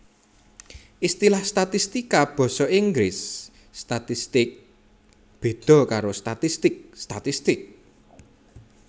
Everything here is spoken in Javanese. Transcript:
Istilah statistika basa Inggris statistics béda karo statistik statistic